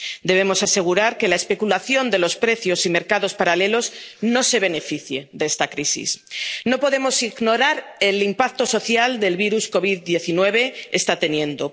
Debemos asegurar que la especulación de los precios y mercados paralelos no se beneficie de esta crisis. No podemos ignorar el impacto social que el virus COVID 19 está